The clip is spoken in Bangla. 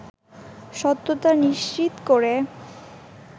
সত্যতা নিশ্চিত করে